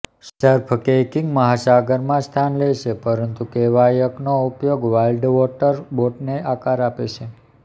surf kayaking મહાસાગરમાં સ્થાન લે છે પરંતુ કેવાયકનો ઉપયોગ વાઇલ્ડવોટર બોટને આકાર આપે છે